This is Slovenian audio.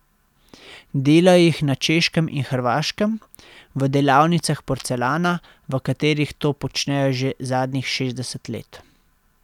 Delajo jih na Češkem in Hrvaškem, v delavnicah porcelana, v katerih to počnejo že zadnjih šestdeset let.